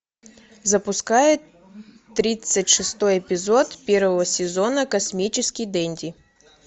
запускай тридцать шестой эпизод первого сезона космический денди